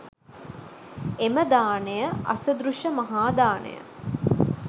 එම දානය අසදෘශ මහා දානය